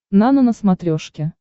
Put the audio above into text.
нано на смотрешке